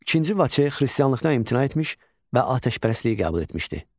II Vaçe xristianlıqdan imtina etmiş və atəşpərəstliyi qəbul etmişdi.